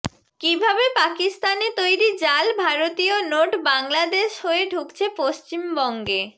কীভাবে পাকিস্তানে তৈরি জাল ভারতীয় নোট বাংলাদেশ হয়ে ঢুকছে পশ্চিমবঙ্গে